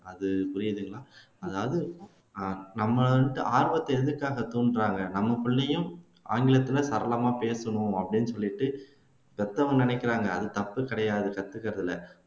அது புரியுதுங்களா அதாவது நம்ம ஆரவத்தை எதுக்காக தூண்டுறாங்க நமக்குள்ளேயும் ஆங்கிலத்துல சரளமா பேசணும் அப்படின்னு சொல்லிட்டு பெத்தவங்க நினைக்கிறாங்க அது தப்பு கிடையாது கத்துக்கிறதுல